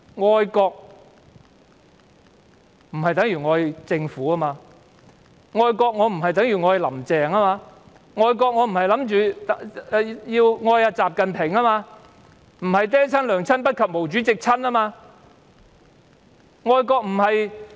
愛國不等於愛政府，愛國不等於愛"林鄭"，愛國亦不等於愛習近平，並非"爹親娘親不及毛主席親"。